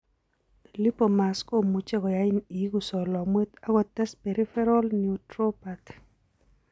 lipomas komuche koyain iigu solomwet ak kotes peripheral neuropathy.